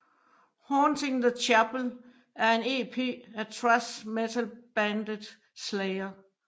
Haunting The Chapel er en ep af thrash metalbandet Slayer